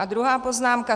A druhá poznámka.